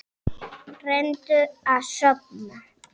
Reyndum að sofna.